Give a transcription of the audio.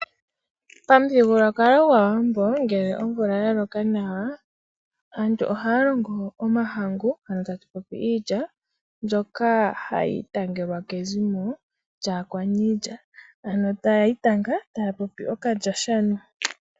Pamuthigululwakalo gwAawambo ngeke omvula ya loka nawa, aantu ohaya longo omahangu ano tatu popi iilya, mbyoka hayi itangelwa kezimo lyAakwaniilya ano taya itanga taya popi okalyashano.